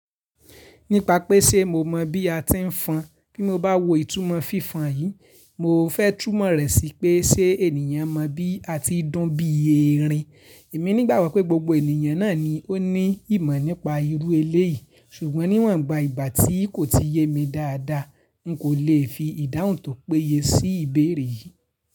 Nípa pé ṣe mo mọ bí a ti ń fọn, bí mo bá wo ìtumọ̀ fífọn yìí, mo fẹ́ tùmọ̀ rẹ̀ sí pé ṣe ènìyàn mọ̀ bí a ti dùn bí erin. Èmi nígbà wọ̀ pé gbogbo ènìyàn náà ni ó ní ìmọ̀ nípa irú eléyìí, ṣùgbọ́n níwọ̀nba ìgbà tí kò ti yé mi dáadáa, n kò lè fi ìdáhùn tó péye sí ìbéèrè yìí.